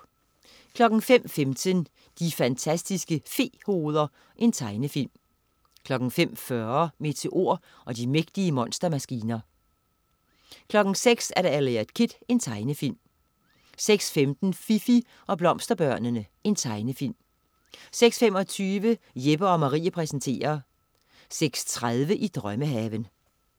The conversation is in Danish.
05.15 De fantastiske fe-hoveder. Tegnefilm 05.40 Meteor og de mægtige monstermaskiner 06.00 Eliot Kid. Tegnefilm 06.15 Fifi og Blomsterbørnene. Tegnefilm 06.25 Jeppe & Marie præsenterer 06.30 I drømmehaven